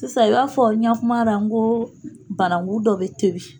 Sisan i b'a fɔ n ya kuma la, n ko bananku dɔ bɛ tobi.